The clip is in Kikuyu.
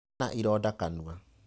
Ena ironda kanua.